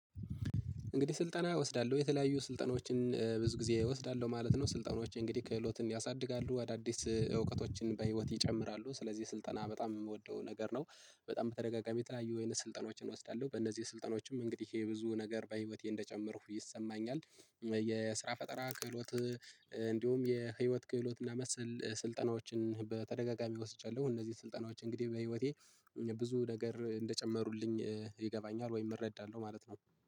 እንግዲህ ስልጠና እወስዳለሁ የተለያዩ ስልጠናዎችን ብዙ ጊዜ እወስዳለሁ ማለት ነው። ስልጠናዎቼ እንግዲህ ክህሎትን ያሳድጋሉ አዳዲስ እውቀቶችን በህይወት ይጨምራሉ ስለዚህ ስልጠና በጣም የምወደው ነገር ነው። በጣም ተደጋጋሚ የተለያዩ የወይን ስልጠናዎችን እወስዳለሁ በእነዚህ ስልጠናዎችም እንግዲህ ይሄ ብዙ ነገር በህይወቴ እንደጨመርኩ ይሰማኛል። የስራ ፈጠራ ክህሎት እንዲሁም የህይወት ክህሎትና መሰል ስልጠናዎችን በተደጋጋሚ ወስጃለሁ። እነዚህ ስልጠናዎች እንግዲህ በህይወቴ ብዙ ነገር እንደጨመሩልኝ ይገባኛል ወይም እረዳለሁ ማለት ነው